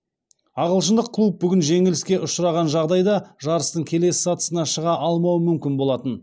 ағылшындық клуб бүгін жеңіліске ұшыраған жағдайда жарыстың келесі сатысына шыға алмауы мүмкін болатын